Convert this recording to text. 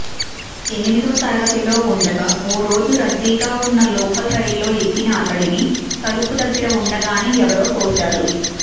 ఎనిమిదో తరగతిలో ఉండగా ఓరోజు రద్దీగా ఉన్న లోకల్ రైల్లో ఎక్కిన అతడిని తలుపు దగ్గర ఉండగానే ఎవరో తోశారు